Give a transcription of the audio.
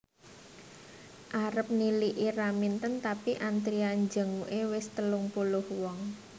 Arep niliki Raminten tapi antrian jenguke wis telung puluh wong